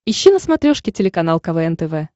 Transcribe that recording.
ищи на смотрешке телеканал квн тв